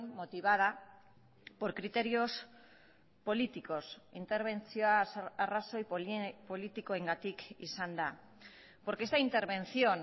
motivada por criterios políticos interbentzioa arrazoi politikoengatik izan da porque esta intervención